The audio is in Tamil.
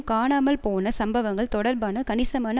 காணாமல் போன சம்பவங்கள் தொடர்பான கணிசமான